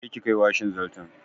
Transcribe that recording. Je ki kai washin zarton!